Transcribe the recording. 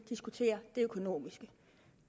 diskutere det økonomiske